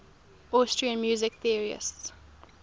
austrian music theorists